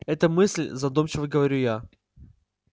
это мысль задумчиво говорю я